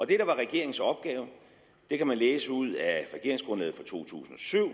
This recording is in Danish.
det der var regeringens opgave det kan man læse ud af regeringsgrundlaget fra to tusind og syv og